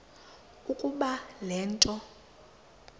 ukuba le nto